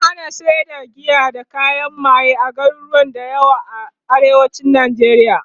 an hana sayar da giya da kayan maye a garuruwa da yawa a arewacin nijeriya